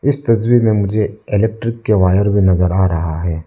इस तस्वीर में मुझे इलेक्ट्रिक के वायर भी नजर आ रहा है।